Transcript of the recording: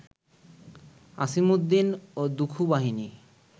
আছিমুদ্দিন ও দুখু বাহিনী